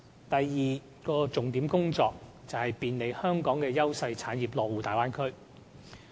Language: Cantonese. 第二項重點工作，是便利香港的優勢產業落戶大灣區。